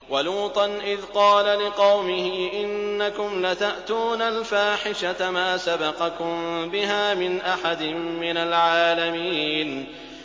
وَلُوطًا إِذْ قَالَ لِقَوْمِهِ إِنَّكُمْ لَتَأْتُونَ الْفَاحِشَةَ مَا سَبَقَكُم بِهَا مِنْ أَحَدٍ مِّنَ الْعَالَمِينَ